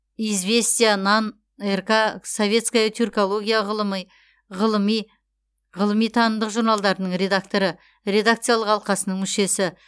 известия нан рк советская тюркология ғылыми танымдық журналдарының редакторы редакциялық алқасының мүшесі